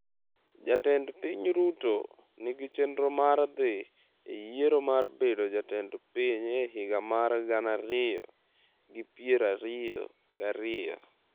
Jatend piny Ruto nigi chenro mar dhi e yiero mar bedo jatend piny e higa mar gana ariyo gi piero ariyo gi ariyo.